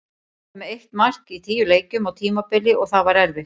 Við vorum með eitt mark í tíu leikjum á tímabili og það var erfitt.